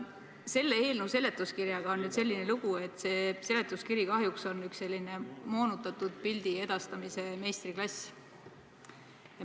Selle eelnõu seletuskirjaga on nüüd selline lugu, et see kahjuks on üks moonutatud pildi edastamise meistriklass.